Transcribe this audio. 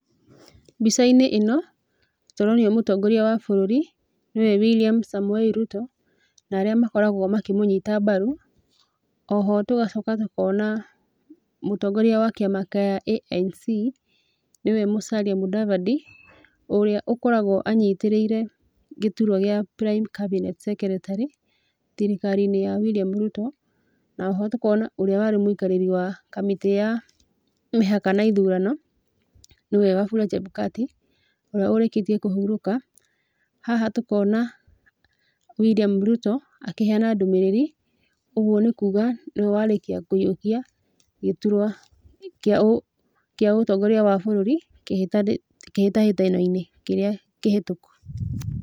Mbica-inĩ ĩno, tũronio mũtongoria wa bũrũri, nĩwe William Samoei Ruto, na arĩa makoragwo makĩmũnyita mbaru, oho tũgacoka tũkona mũtongoria wa kĩama kĩa ANC, nĩ we Musalia Mudavadi, ũrĩa ũkoragwo anyitĩrĩire gĩturwa gĩa Prime Cabinet Secretary thirikari-inĩ ya William Ruto, na oho tũkona ũrĩa warĩ mũikarĩri wa kamĩtĩ ya mĩhaka na ithurano nĩwe Wafula Chebukati, ũrĩa ũrĩkĩtie kũhurũka, haha tũkona William Ruto akĩheana ndũmĩrĩri, ũguo nĩ kuuga nĩwe warĩkia kũhiũkia gĩturwa kĩa ũ kĩa ũtongoria wa bũrũri, kĩhĩtahĩtano-inĩ kĩrĩa kĩhĩtũku.